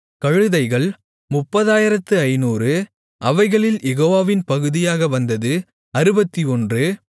கழுதைகள் 30500 அவைகளில் யெகோவாவின் பகுதியாக வந்தது 61